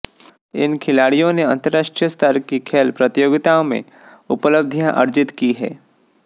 इन खिलाडिय़ों ने अंतरराष्ट्रीय स्तर की खेल प्रतियोगिताओं में उपलब्धियां अर्जित की हैं